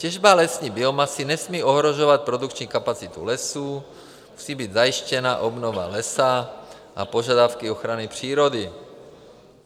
Těžba lesní biomasy nesmí ohrožovat produkční kapacitu lesů, musí být zajištěna obnova lesa a požadavky ochrany přírody.